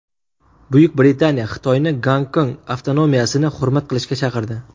Buyuk Britaniya Xitoyni Gonkong avtonomiyasini hurmat qilishga chaqirdi .